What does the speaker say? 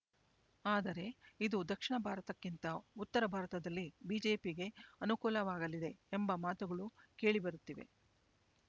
ಆದರೆ ಇದು ದಕ್ಷಿಣ ಭಾರತಕ್ಕಿಂತ ಉತ್ತರ ಭಾರತದಲ್ಲಿ ಬಿಜೆಪಿಗೆ ಅನುಕೂಲವಾಗಲಿದೆ ಎಂಬ ಮಾತುಗಳು ಕೇಳಿ ಬರುತ್ತಿವೆ